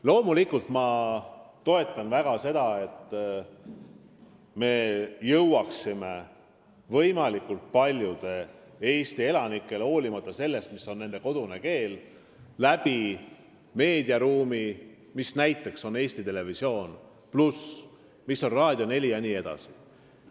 Loomulikult ma väga toetan seda, et me jõuaksime võimalikult paljude Eesti elanikeni – hoolimata sellest, mis on nende kodune keel – meediaruumi kaudu, näiteks ETV+, Raadio 4 jne abiga.